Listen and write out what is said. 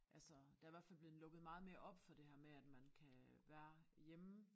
Altså der i hvert fald bleven lukket meget mere op for det her med at man kan være hjemme